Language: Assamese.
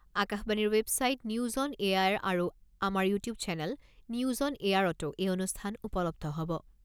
আকাশবাণীৰ ৱেবছাইট নিউজ অন এয়াৰ আৰু আমাৰ ইউটিউব চেনেল নিউজ অন এয়াৰতো এই অনুষ্ঠান উপলব্ধ হ'ব।